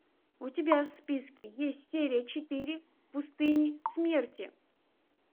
у тебя в списке есть серия четыре в пустыне смерти